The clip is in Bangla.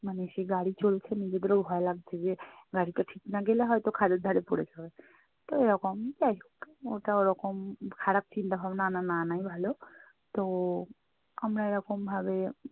মানে সে গাড়ি চলছে নিজেদেরও ভয় লাগছে যে গাড়িটা ঠিক না গেলে হয়তো খাঁদের ধারে পড়ে যাবে। তো এরকম যাই হোক! ওটা ওরকম খারাপ চিন্তা-ভাবনা আনা না আনাই ভালো। তো আমরা এরকম ভাবে